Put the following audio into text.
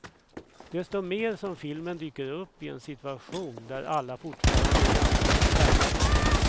Desto mer som filmen dyker upp i en situation där alla fortfarande är ganska skärrade.